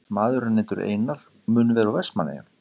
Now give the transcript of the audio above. Maður er nefndur Einar og mun vera úr Vestmannaeyjum.